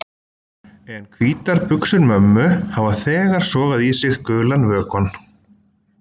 En hvítar buxur mömmu hafa þegar sogað í sig gulan vökvann.